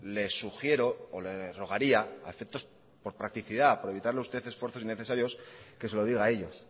le sugiero o le rogaría a efectos por practicidad por evitarle a usted esfuerzos innecesarios que se lo diga a ellos